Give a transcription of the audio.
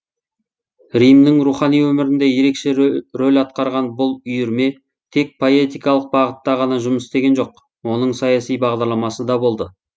римнің рухани өмірінде ерекше рөл атқарған бұл үйірме тек поэтикалық бағытта ғана жұмыс істеген жоқ оның саяси бағдарламасы да болды